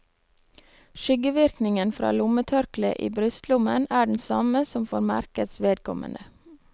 Skyggevirkningen fra lommetørkleet i brystlommen er den samme som for merkets vedkommende.